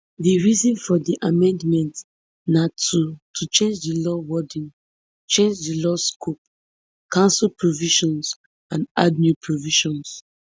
di reason for di amendments na to to change di law wording change di law scope cancel provisions and add new provisions